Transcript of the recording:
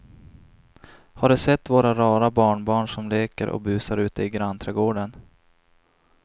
Har du sett våra rara barnbarn som leker och busar ute i grannträdgården!